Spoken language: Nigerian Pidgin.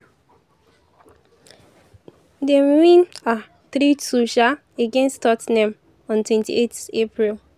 dem win um 3-2 um against tot ten ham on 28 april.